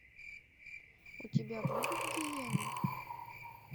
у тебя будут гиены